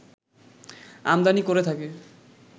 আমদানি করে থাকে